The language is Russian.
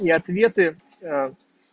и ответы